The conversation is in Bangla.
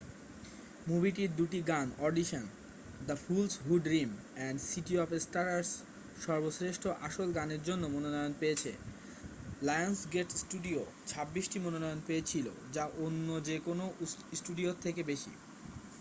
মুভিটির দুটি গান audition the fools who dream এবং সিটি অফ স্টার্স সর্বশ্রেষ্ঠ আসল গানের জন্য মনোনয়ন পেয়েছে। লায়ন্সগেট স্টুডিও 26 টি মনোনয়ন পেয়েছিল -যা অন্য যে কোনও স্টুডিওর থেকে বেশি।